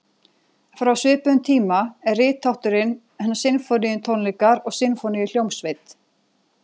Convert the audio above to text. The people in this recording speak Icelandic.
Frá svipuðum tíma er rithátturinn sinfóníutónleikar og sinfóníuhljómsveit.